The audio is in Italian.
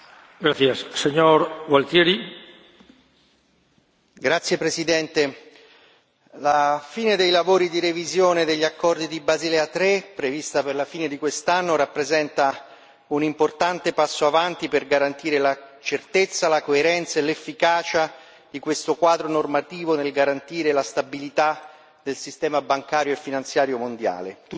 Signor Presidente, onorevoli colleghi, la conclusione dei lavori di revisione degli accordi di Basilea 3, prevista per la fine di quest'anno, rappresenta un importante passo avanti per garantire la certezza, la coerenza e l'efficacia di questo quadro normativo nel garantire la stabilità del sistema bancario e finanziario mondiale. Tuttavia,